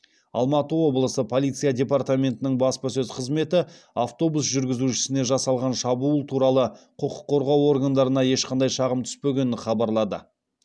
алматы облысы полиция департаментінің баспасөз қызметі автобус жүргізушісіне жасалған шабуыл туралы құқық қорғау органдарына ешқандай шағым түспегенін хабарлады